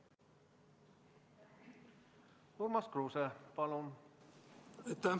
Urmas Kruuse, palun!